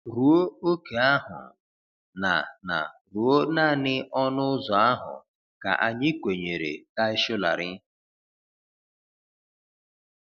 Ruo ókè ahụ — na na ruo naanị ọnụ ụzọ ahụ ka anyị kwenyere Tai Solarin.